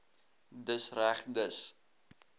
dis reg dis